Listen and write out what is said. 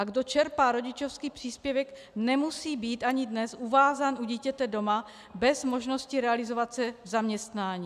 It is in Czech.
A kdo čerpá rodičovský příspěvek, nemusí být ani dnes uvázán u dítěte doma bez možnosti realizovat se v zaměstnání.